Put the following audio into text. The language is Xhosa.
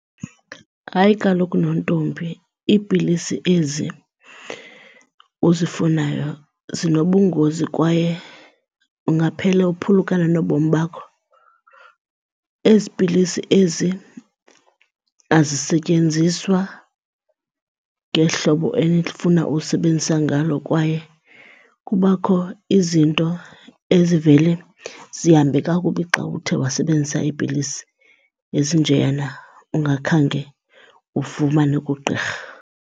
Hayi kaloku nontombi, iipilisi ezi uzifunayo zinobungozi kwaye ungaphela uphulukana nobomi bakho. Ezi pilisi ezi azisetyenziswa ngehlobo enifuna usebenzisa ngalo kwaye kubakho izinto ezivele zihambe kakubi xa uthe wasebenzisa iipilisi ezinjeyana ungakhange ufumane kugqirha.